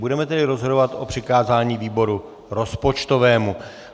Budeme tedy rozhodovat o přikázání výboru rozpočtovému.